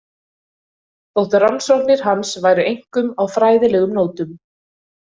Þótt rannsóknir hans væru einkum á fræðilegum nótum.